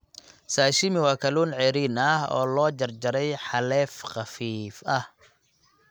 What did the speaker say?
Sashimi waa kalluun ceeriin ah oo la jarjaray xaleef khafiif ah.